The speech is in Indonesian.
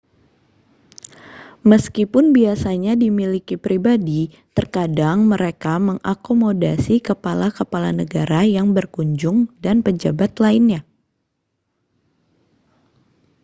meskipun biasanya dimiliki pribadi terkadang mereka mengakomodasi kepala-kepala negara yang berkunjung dan pejabat lainnya